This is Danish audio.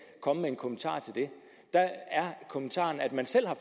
komme med en kommentar til det der er kommentaren at man selv har